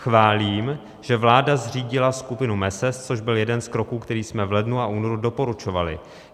Chválím, že vláda zřídila skupinu MeSES, což byl jeden z kroků, který jsme v lednu a únoru doporučovali.